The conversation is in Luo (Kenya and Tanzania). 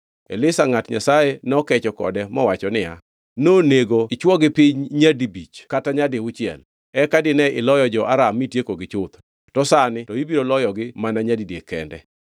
Elisha ngʼat Nyasaye nokecho kode mowacho niya, “Nonego ichwogi piny nyadibich kata nyadiuchiel; eka dine iloyo jo-Aram mitiekogi chuth, to sani to ibiro loyogi mana nyadidek kende.”